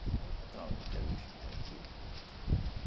Ficava aí, patrão, eu quero isto, eu quero aquilo.